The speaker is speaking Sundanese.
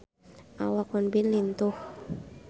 Awak Won Bin lintuh